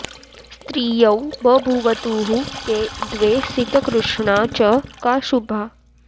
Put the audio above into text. स्त्रियौ बभूवतुः के द्वे सितकृष्णा च का शुभा